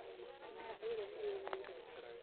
Mĩmera ĩrĩa nĩ yũmĩirwo.